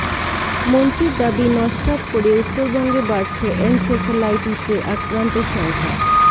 মন্ত্রীর দাবি নস্যাৎ করে উত্তরবঙ্গে বাড়ছে এনসেফ্যালাইটিসে আক্রান্তের সংখ্যা